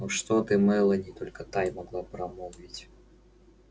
ну что ты мелани только та и могла промолвить